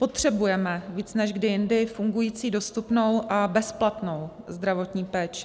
Potřebujeme víc než kdy jindy fungující, dostupnou a bezplatnou zdravotní péči.